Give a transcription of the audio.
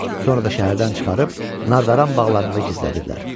Sonra da şəhərdən çıxarıb nardaran bağlarında gizlədiblər.